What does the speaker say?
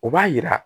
O b'a yira